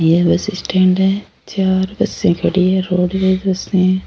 ये bus stand है चार बसें खड़ी है रोडवेज बसें --